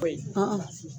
O ye